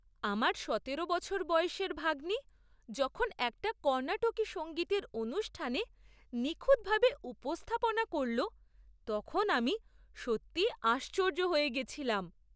আমার সতেরো বছর বয়সের ভাগ্নি যখন একটা কর্ণাটকী সঙ্গীতের অনুষ্ঠানে নিখুঁতভাবে উপস্থাপনা করল, তখন আমি সত্যিই আশ্চর্য হয়ে গেছিলাম!